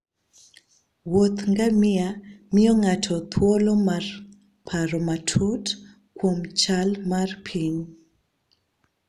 Wuoth ngamia miyo ng'ato thuolo mar paro matut kuom chal mar piny.